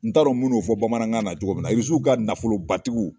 N t'a dɔn n bin'o fɔ bamanankan na cogo min na irisiw ka nafolobatigiw